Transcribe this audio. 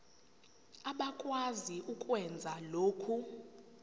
abakwazi ukwenza lokhu